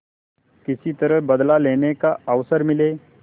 किसी तरह बदला लेने का अवसर मिले